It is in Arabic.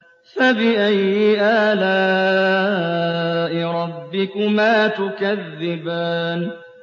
فَبِأَيِّ آلَاءِ رَبِّكُمَا تُكَذِّبَانِ